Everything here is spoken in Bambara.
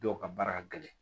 Dɔw ka baara ka gɛlɛn